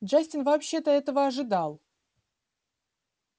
джастин вообще-то этого ожидал